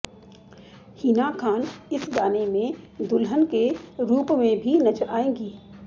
हिना खान इस गाने में दुल्हन के रूप में भी नजर आएंगी